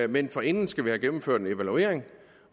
men forinden skal vi have gennemført en evaluering